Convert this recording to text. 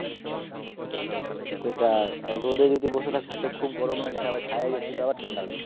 সেটাই আর রোদে যদি বসে থাকছি তো খুব গরম লাগছে আবার ছায়ায় যাচ্ছি তো আবার ঠান্ডা লাগছে